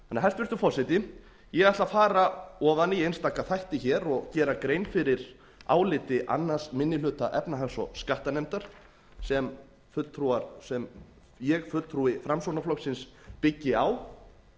hæstvirtur forseti ég ætla að fara ofan í einstaka þætti hér og gera grein fyrir áliti annar minni hluta efnahags og skattanefndar sem ég fulltrúi framsóknarflokksins byggi á